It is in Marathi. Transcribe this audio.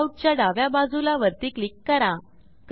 layoutच्या डाव्या बाजूला वरती क्लिक करा